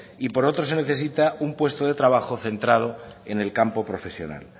y por otro se necesita un puesto de trabajo centrado en el campo profesional